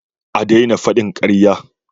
A daina faɗin ƙarya!